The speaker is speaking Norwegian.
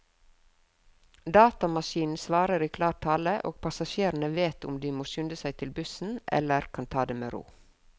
Datamaskinen svarer i klar tale, og passasjerene vet om de må skynde seg til bussen eller kan ta det med ro.